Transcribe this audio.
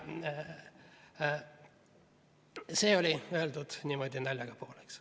See oli öeldud niimoodi naljaga pooleks.